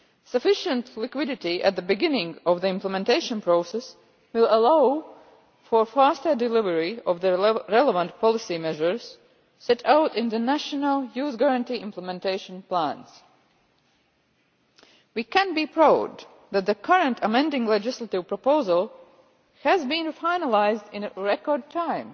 Sufficient liquidity at the beginning of the implementation process will allow for faster delivery of the relevant policy measures set out in the national Youth Guarantee Implementation Plans. We can be proud that the current amending legislative proposal has been finalised in record time.